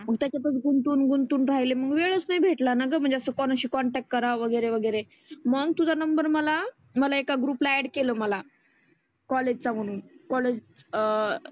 मग त्याच्यातच गुंतुन गुंतुन राहीले मग वेळच नाही भेटला ना गं. म्हणजे असं कोणशी कॉन्टॅक्ट करावा वगैरे वगैरे मग तुझा नंबर मला, मला एका ग्रुप ला ऍड केलं मला. कॉलेज च्या मुली कॉलेज अं